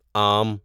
آم